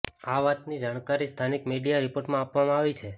આ વાતની જણકારી સ્થાનિક મીડિયા રિપોર્ટમાં આપવામાં આવી છે